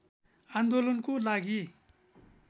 आन्दोलनको लागि